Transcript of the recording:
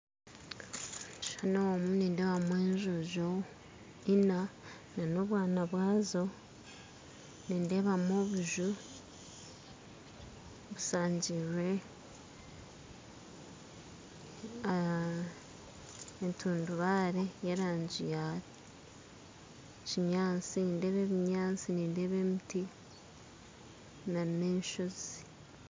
Omu kishushani omu nindeebamu enjojo ina ziine obwana bwazo nindeebamu obuju bushangirirwe n'entundubaare y'erangi ya kinyaatsi nindeeba ebinyaatsi nindeeba emiti n'enshozi